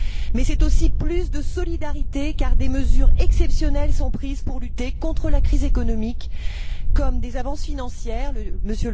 Mais c'est aussi plus de solidarité, car des mesures exceptionnelles sont prises pour lutter contre la crise économique, comme des avances financières M.